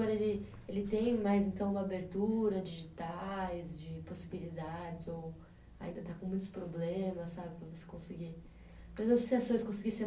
Ele, ele tem mais então uma abertura digitais, de possibilidades, ou ainda está com muitos problemas, sabe? conseguir associações conseguir